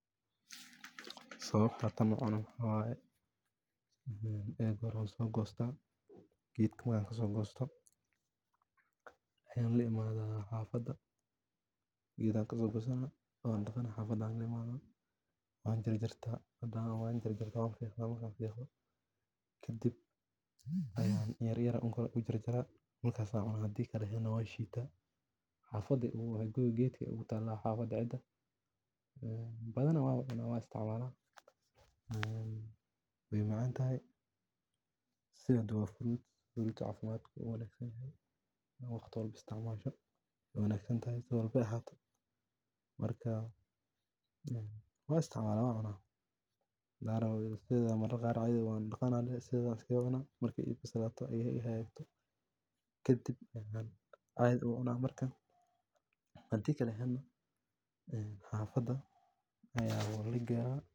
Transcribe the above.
Sawabta tan u cuno waxaa waye marka hore wanso gosta, geedka marka kaso gosto ayan laimadha xafaada geeda kaso gosana xafaada ayan laimana wan jar jarta hadana wan fiqa marka fiqo kadib ayan inyar inyar u jar jara markas ayan cuna hadi kalana wan shota xafaada ee geedka ayey igu tala ee badana wan cuna wan isticmala ee wey macantahay sithan waa fruit, fruit cafimaad aad bu uwanagsan yahay waa in waqti walbo isticmasha wey wanagsan si walba ee ahato marka ee wan isticmala wan cuna darar aya wan daqana dehe sirhas ayan iskaga cuna Marki ee bislato ee hagagto kadib ayan cadhi u cuna markan hadi kala ee ehena xafada aya lageya.